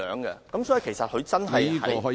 因此，其實汽車真的在......